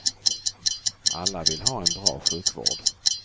Alla vill ha en bra sjukvård.